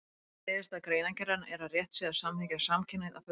Niðurstaða greinargerðarinnar er að rétt sé að samþykkja samkynhneigð að fullu.